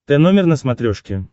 тномер на смотрешке